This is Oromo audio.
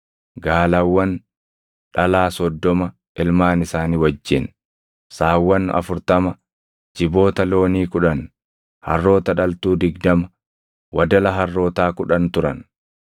gaalawwan dhalaa soddoma ilmaan isaanii wajjin, saawwan afurtama, jiboota loonii kudhan, harroota dhaltuu digdama, wadala harrootaa kudhan turan.